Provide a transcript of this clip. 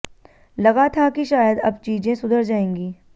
लगा था कि शायद अब चीजें सुधर जाएंगी